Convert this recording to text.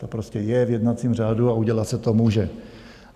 To prostě je v jednacím řádu a udělat se to může.